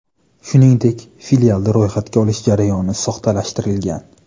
Shuningdek, filialda ro‘yxatga olish jarayoni soxtalashtirilgan.